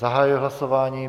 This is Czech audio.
Zahajuji hlasování.